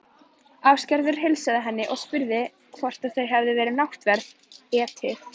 Ásgerður heilsaði henni og spurði hvort þau hefði náttverð etið.